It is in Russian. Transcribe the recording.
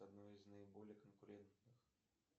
одно из наиболее конкурентных